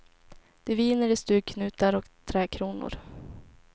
Det viner i stugknutar och trädkronor.